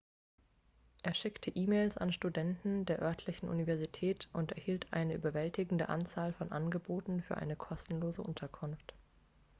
er schickte e-mails an studenten der örtlichen universität und erhielt eine überwältigende anzahl von angeboten für eine kostenlose unterkunft